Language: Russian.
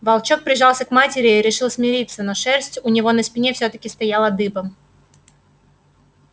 волчонок прижался к матери и решил смириться но шерсть у него на спине все таки стояла дыбом